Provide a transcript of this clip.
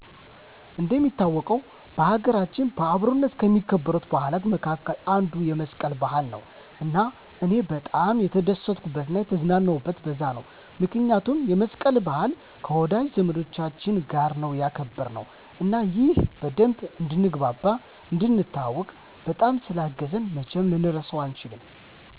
እንደሚታወቀው በሀገራችን በአብሮነት ከሚከበሩ በዓላቶች መካከል አንዱ የመስቀል በዓል ነው እና እኔም በጣም የተደሰትኩበት እና የተዝናናሁበት በዛ ነው ምክንያቱም የመስቀልን በዓል ከወዳጅ ዘመዶቻች ጋር ነው ያከበርነው እና ይህም በደንብ እንድንግባባ፣ እንድንተዋዎቅ፣ በጣም ስላገዘኝ መቼም ልረሳው አልችልም